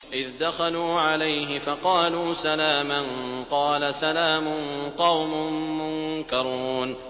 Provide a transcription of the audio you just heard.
إِذْ دَخَلُوا عَلَيْهِ فَقَالُوا سَلَامًا ۖ قَالَ سَلَامٌ قَوْمٌ مُّنكَرُونَ